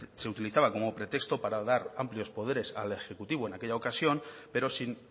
se utilizaba como pretexto para dar amplios poderes al ejecutivo en aquella ocasión pero sin